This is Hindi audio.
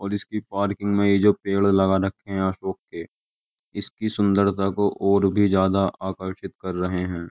और इसकी पार्किंग में ये जो पेड़ लगा रखे हैं अशोक के इसकी सुंदरता को और भी ज्यादा आकर्षित कर रहे हैं।